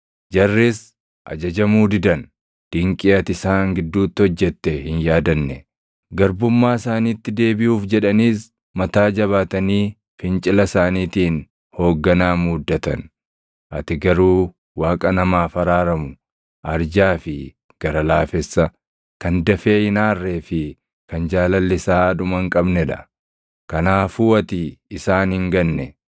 Jarris ajajamuu didan; dinqii ati isaan gidduutti hojjette hin yaadanne. Garbummaa isaaniitti deebiʼuuf jedhaniis mataa jabaatanii fincila isaaniitiin hoogganaa muuddatan. Ati garuu Waaqa namaaf araaramu, arjaa fi gara laafessa, kan dafee hin aarree fi kan jaalalli isaa dhuma hin qabnee dha. Kanaafuu ati isaan hin ganne;